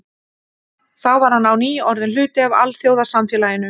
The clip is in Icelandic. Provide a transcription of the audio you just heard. Þá var hann á ný orðinn hluti af alþjóðasamfélaginu.